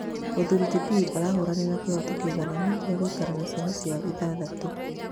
Mũthuri ti Pitt arahũranĩra kĩhooto kĩigananu gĩa gũikara na ciana ciao ithathatũ